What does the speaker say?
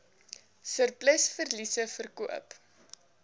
surplus verliese verkoop